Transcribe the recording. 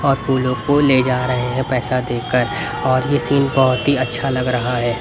और फूलों को ले जा रहें हैं पैसा देकर और ये सीन बहोत ही अच्छा लग रहा हैं।